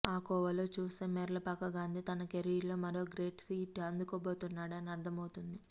ఆ కోవలో చూస్తే మేర్లపాక గాంధీ తన కెరీర్లో మరో గ్రేట్ హిట్ అందుకోబోతున్నాడని అర్థమవుతోంది